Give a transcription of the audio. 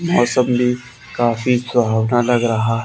मौसम भी काफी कुहावना लग रहा--